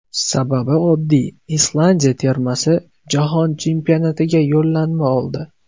Sababi oddiy, Islandiya termasi Jahon Chempionatiga yo‘llanma oldi.